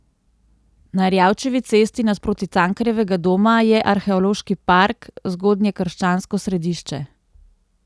Na Erjavčevi cesti, nasproti Cankarjevega doma, je arheološki park Zgodnjekrščansko središče.